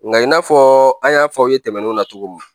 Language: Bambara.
Nka i n'a fɔ an y'a fɔ aw ye tɛmɛnenw na cogo min